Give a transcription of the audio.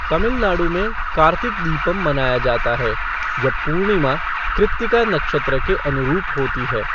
तमिलनाडु में, कार्तिक दीपम मनाया जाता है जब पूर्णिमा कृत्तिका नक्षत्र के अनुरूप होती है।